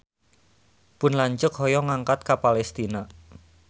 Pun lanceuk hoyong angkat ka Palestina